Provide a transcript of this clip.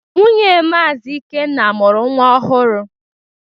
Nwunye Maazi Ikenna mụrụ nwa ọhụrụ.